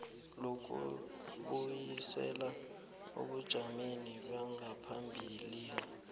lokubuyisela ebujameni bangaphambilini